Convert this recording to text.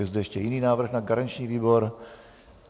Je zde ještě jiný návrh na garanční výbor?